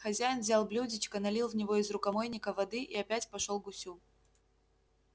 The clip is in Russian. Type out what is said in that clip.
хозяин взял блюдечко налил в него из рукомойника воды и опять пошёл к гусю